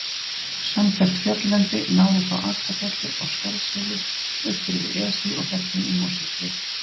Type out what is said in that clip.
Samfellt fjalllendi náði frá Akrafjalli og Skarðsheiði austur yfir Esju og fellin í Mosfellssveit.